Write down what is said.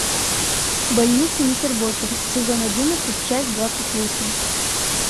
больница никербокер сезон одиннадцать часть двадцать восемь